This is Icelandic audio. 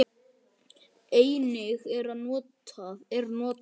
Einnig er notað